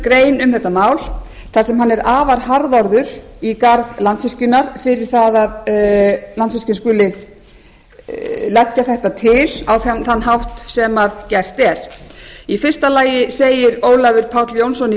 grein um þetta mál þar sem hann er afar harðorður í garð landsvirkjunar fyrir það að landsvirkjun skuli leggja þetta til á þann hátt sem gert er í fyrsta lagi segir ólafur páll jónsson í